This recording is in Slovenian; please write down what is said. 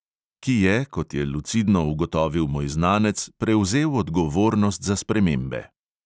Ki je, kot je lucidno ugotovil moj znanec, prevzel odgovornost za spremembe.